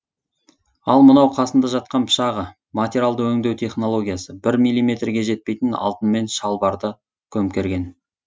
ал мынау қасында жатқан пышағы материалды өңдеу технологиясы бір миллиметрге жетпейтін алтынмен шалбарды көмкерген